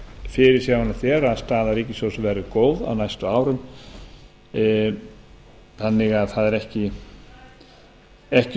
er að staða ríkissjóðs verði góð á næstu árum það eru því ekki